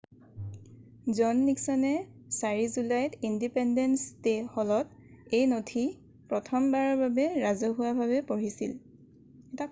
জন নিক্সনে 8 জুলাইত ইনডিপেণ্ডেন্স হলত এই নথি প্ৰথমবাৰৰ বাবে ৰাজহুৱাভাৱে পঢ়িছিল